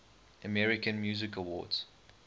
american music awards